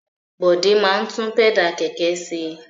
Bọ̀dé máa ń tún pẹ́dà kẹ̀kẹ́ ṣe.